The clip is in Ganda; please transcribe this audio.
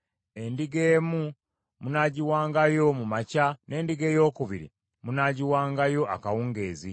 Endiga emu munaagiwangayo mu makya, n’endiga eyookubiri munaagiwangayo akawungeezi;